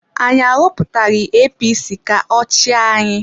Anyị ahọpụtaghị APC ka ọ chịa anyị.